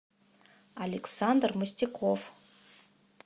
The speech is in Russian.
александр мостяков